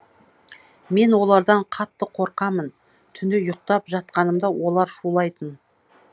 мен олардан қатты қорқамын түнде ұйықтап жатқанымда олар шулайтын